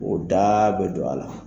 O da bɛ don a la